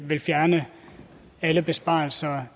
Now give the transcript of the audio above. vil fjerne alle besparelser